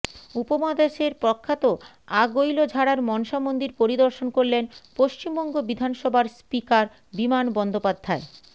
উপমহাদেশের প্রখ্যাত আগৈলঝাড়ার মনসা মন্দির পরিদর্শন করলেন পশ্চিমবঙ্গ বিধানসভার স্পীকার বিমান বন্দ্যোপাধ্যায়